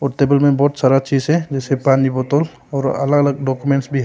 और टेबल में बहुत सारा चीज है जैसे पानी बोतल और अलग अलग डॉक्यूमेंट्स भी है।